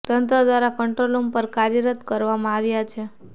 તંત્ર દ્વારા control room પણ કાર્યરત કરવામાં આવ્યા છે